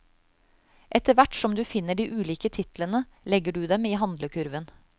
Etter hvert som du finner de ulike titlene, legger du dem i handlekurven.